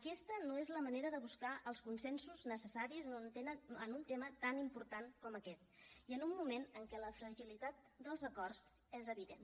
aquesta no és la manera de buscar els consensos necessaris en un tema tan important com aquest i en un moment en què la fragilitat dels acords és evident